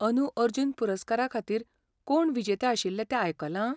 अदूं अर्जुन पुरस्कारा खातीर कोण विजेते आशिल्ले तें आयकलां?